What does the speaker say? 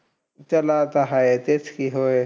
त्याला आता हाय. तेच की. होय.